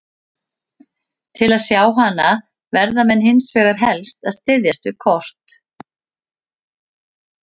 Til að sjá hana verða menn hins vegar helst að styðjast við kort.